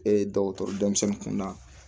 E ye dɔgɔtɔrɔ denmisɛnnin kunda